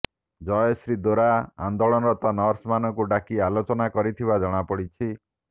ଜୟଶ୍ରୀ ଦୋରା ଆନ୍ଦୋଳନରତ ନର୍ସମାନଙ୍କୁ ଡାକି ଆଲୋଚନା କରିଥିବା ଜଣାପଡ଼ିଛି